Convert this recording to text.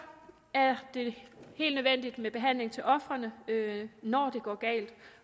er det helt nødvendigt med behandling til ofrene når det går galt